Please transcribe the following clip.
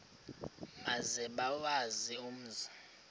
maze bawazi umzi